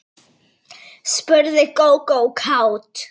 spurði Gógó kát.